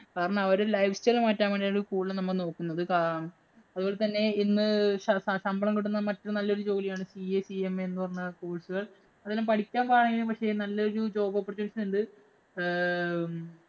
കാരണം അവര് life style മാറ്റാന്‍ വേണ്ടിയാണ് കൂടുതലും നമ്മൾ നോക്കുന്നത്. കാ അതുപോലെ തന്നെ ഇന്ന് ശശമ്പളം കിട്ടുന്ന മറ്റൊരു നല്ല ജോലിയാണ് CACMA എന്ന് പറഞ്ഞ course ഉകള്‍. അതെല്ലാം പഠിക്കാന്‍ പാടാണെങ്കിലും പക്ഷേ, നല്ലൊരു job oppourtunity ഉണ്ട്. ആഹ് ഹും